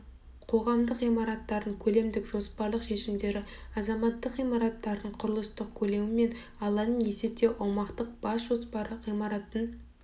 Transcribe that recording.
қоғамдық ғимараттардың көлемдік жоспарлық шешімдері азаматтық ғимараттардың құрылыстық көлемі мен алаңын есептеу аумақтың бас жоспары ғимараттың